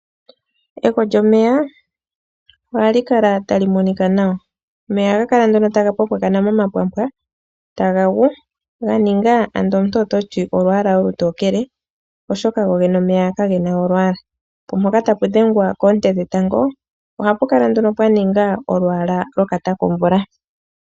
Egwo lyomeya ohali kala tali monika nawa. Omeya ohaga kala nduno taga pwampwakana momapwampwa taga gu ga ninga ando omuntu oto ti olwaala olutokele, oshoka gogene omeya kage na olwaala. Po mpoka tapu dhengwa koonte dhetango ohapu kala pwa ninga omalwaala gokatakomvula.